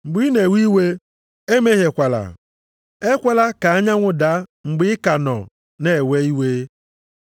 Mgbe ị na-ewe iwe emehiekwala. + 4:26 \+xt Abụ 4:4\+xt* Ekwela ka anyanwụ daa mgbe ị ka nọ na-ewe iwe.